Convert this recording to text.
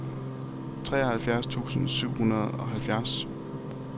treoghalvfjerds tusind syv hundrede og halvfjerds